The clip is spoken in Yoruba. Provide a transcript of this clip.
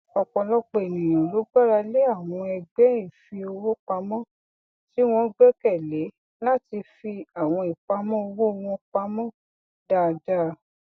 ọpọlọpọ ènìyàn ló gbára lé àwọn ẹgbẹ ìfiowó pamọ tí wọn gbẹkẹlé láti fi àwọn ìpamọ owó wọn pamọ dáadáa